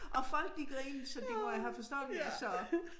Og folk de grinede så de må jo have forstået hvad jeg sagde